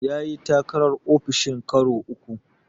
Ya yi takarar ofishin karo uku.